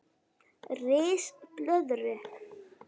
Ris blöðru